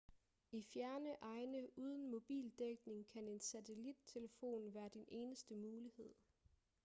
i fjerne egne uden mobildækning kan en satellittelefon være din eneste mulighed